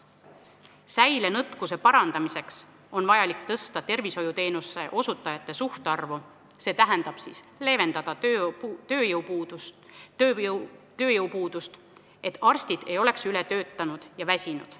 Säilenõtkuse parandamiseks on vaja tõsta tervishoiuteenuste osutajate suhtarvu, st leevendada tööjõupuudust, et arstid ei oleks ületöötanud ja väsinud.